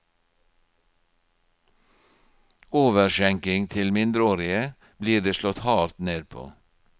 Overskjenking til mindreårige blir det slått hardt ned på.